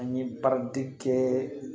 An ye baaraden kɛ